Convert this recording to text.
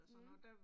Mh